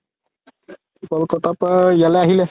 ক'লকাতাৰ পা ইয়ালে আহিলে